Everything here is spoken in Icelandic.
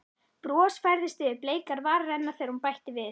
Bros færðist yfir bleikar varir hennar þegar hún bætti við